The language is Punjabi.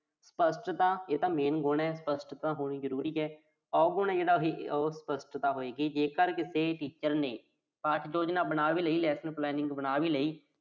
ਸਪੱਸ਼ਟਤਾ। ਇਹ ਤਾਂ main ਗੁਣ ਆ। ਸਪੱਸ਼ਟਤਾ ਹੋਣੀ ਜ਼ਰੂਰੀ ਆ। ਔਗੁਣ ਆ ਜਿਹੜਾ ਉਹੋ ਅਸਪੱਸ਼ਟਤਾ ਹੋਏਗੀ, ਜੇਕਰ ਕਿਸੇ teacher ਨੇ ਕਾਰਜ-ਯੋਜਨਾ ਬਣਾ ਵੀ ਲਈ ਆ, action plan ਬਣਾ ਵੀ ਲਈ ਆ।